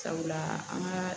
Sabula an ka